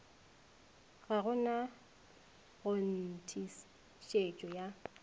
ga go na kgonthišetšo ya